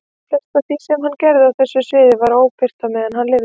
Flest af því sem hann gerði á þessu sviði var óbirt meðan hann lifði.